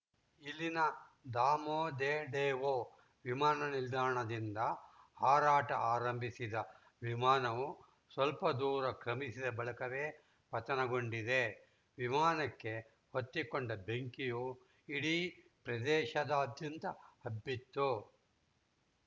ಇಲ್ಲಿನ ದಾಮೋದೇಡೊವೊ ವಿಮಾನ ನಿಲ್ದಾಣದಿಂದ ಹಾರಾಟ ಆರಂಭಿಸಿದ ವಿಮಾನವು ಸ್ಪಲ್ಪ ದೂರ ಕ್ರಮಿಸಿದ ಬಳಿಕವೇ ಪತನಗೊಂಡಿದೆ ವಿಮಾನಕ್ಕೆ ಹೊತ್ತಿಕೊಂಡ ಬೆಂಕಿಯು ಇಡೀ ಪ್ರದೇಶದಾದ್ಯಂತ ಹಬ್ಬಿತ್ತು